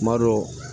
Tuma dɔw